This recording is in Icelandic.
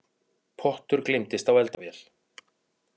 Pottur gleymdist á eldavél